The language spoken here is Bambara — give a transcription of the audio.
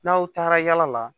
N'aw taara yala la